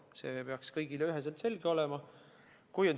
See peaks kõigile üheselt selge olema.